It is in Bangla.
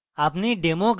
আপনি demo graph দেখবেন